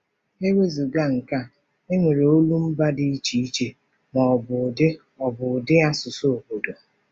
E wezụga nke a, e nwere ụdị olumba dị iche iche, ma ọ bụ ụdị ọ bụ ụdị asụsụ obodo.